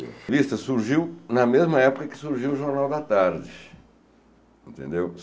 A revista surgiu na mesma época que surgiu o Jornal da Tarde, entendeu?